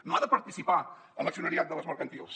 no ha de participar en l’accionariat de les mercantils